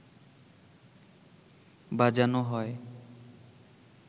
বাজানো হয়